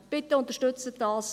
Bitte unterstützen Sie das.